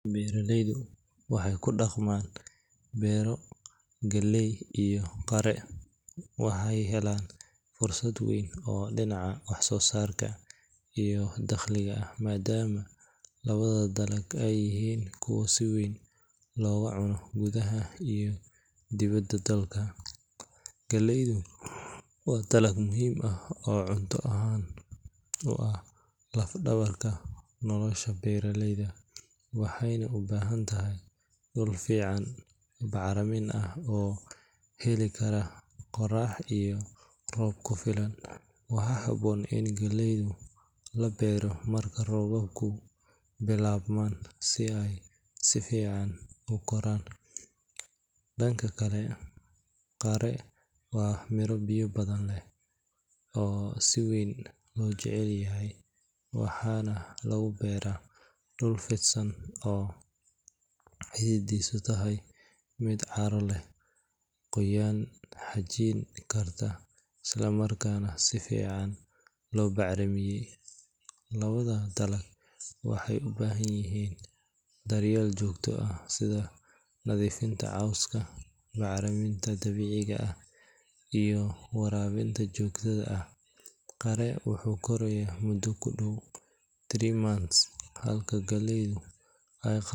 Beeraleyda ku dhaqma beero galleyda iyo qare waxay helaan fursad weyn oo dhinaca wax-soosaarka iyo dakhliga ah maadaama labada dalagba ay yihiin kuwo si weyn looga cuno gudaha iyo dibadda dalka. Galleyda waa dalag muhiim ah oo cunto ahaan u ah laf-dhabarka nolosha beeraleyda, waxayna u baahan tahay dhul fiican, bacrin ah oo heli kara qorrax iyo roob ku filan. Waxaa habboon in galleyda la beero marka roobabku bilaabmaan si ay si fiican u koraan. Dhanka kale, qare waa miro biyo badan leh oo si weyn loo jecel yahay, waxaana lagu beeraa dhul fidsan oo ciiddiisu tahay mid carro leh, qoyaan xajin karta, islamarkaana si fiican loo bacrimiyay. Labada dalag waxay u baahan yihiin daryeel joogto ah sida nadiifinta cawska, bacriminta dabiiciga ah iyo waraabinta joogtada ah. Qare wuxuu korayaa muddo ku dhow three months halka galleyda ay.